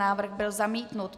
Návrh byl zamítnut.